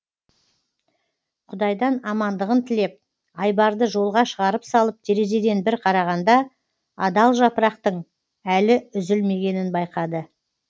құдайдан амандығын тілеп айбарды жолға шығарып салып терезеден бір қарағанда адал жапырақтың әлі үзілмегенін байқады